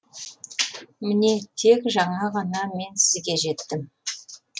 міне тек жаңа ғана мен сізге жеттім